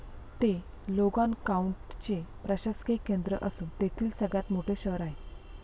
ते लोगान काऊंटीचे प्रशासकिय केंद्र असून तेथील सगळ्यात मोठे शहर आहे.